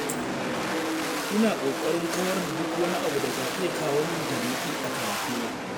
Ina ƙoƙarin kawar da duk wani abu da ka iya kawo min tarnaƙi a karatuna.